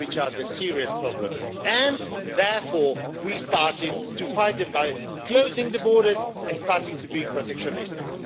which are serious problems, and therefore we started to fight them by closing the borders and starting to be protectionistic.